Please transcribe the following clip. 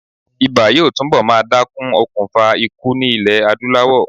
Ibà yóò túnbọ̀ máa dákún okùnfà ikú ní ilè Adúláwọ̀.